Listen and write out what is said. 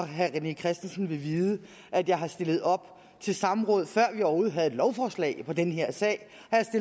herre rené christensen vil vide at jeg har stillet op til samråd før vi overhovedet havde lovforslag om den her sag